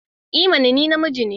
I mana! Ni namiji ne.